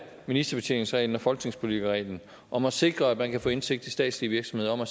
ministerbetjeningsreglen og folketingspolitikerreglen om at sikre at man kan få indsigt i statslige virksomheder om at